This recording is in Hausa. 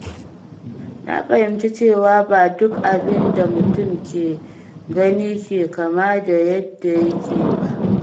Na fahimci cewa ba duk abin da mutum ke gani ke kama da yadda yake ba.